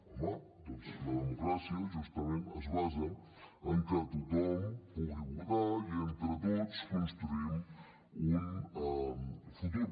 home doncs la democràcia justament es basa en que tothom pugui votar i entre tots construïm un futur